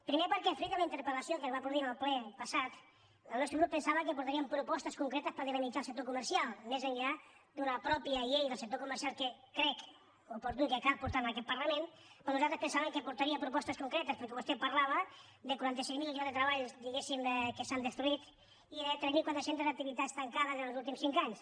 primer perquè fruit de la interpelque es va produir en el ple passat el nostre grup pen·sava que portarien propostes concretes per dinamit·zar el sector comercial més enllà d’una pròpia llei del sector comercial que crec oportuna i que cal por·tar a aquest parlament però nosaltres pensàvem que portaria propostes concretes perquè vostè parlava de quaranta sis mil llocs de treball que s’han destruït i de tres mil quatre cents activitats tancades en els últims cinc anys